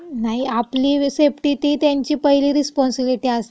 नाही, आपली सेफ्टी ती त्यांची पहिली रिस्पाँसिबिलिटी असती. ही आपली हो.